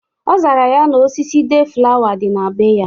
Ọ zara ya na osisi deeflawa dị na bee ya.